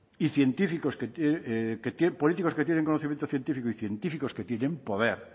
y científicos que políticos que tienen conocimientos científicos y científicos que tienen poder